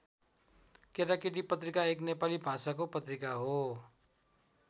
केटाकेटी पत्रिका एक नेपाली भाषाको पत्रिका हो।